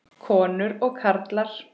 Konur og karlar.